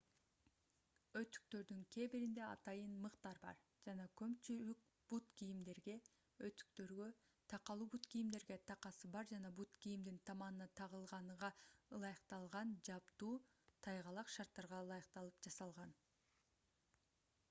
өтүктөрдүн кээ биринде атайын мыктар бар жана көпчүлүк бут кийимдерге өтүктөргө такалуу бут кийимдерге такасы бар жана бут кийимдин таманына тагылганага ылайыкталган жабдуу тайгалак шарттарга ылайыкталып жасалган